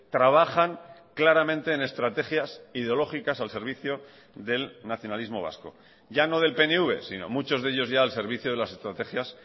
trabajan claramente en estrategias ideológicas al servicio del nacionalismo vasco ya no del pnv sino muchos de ellos ya al servicio de las estrategias